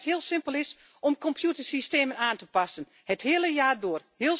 Die zeggen dat het heel simpel is om computersystemen aan te passen, het hele jaar door.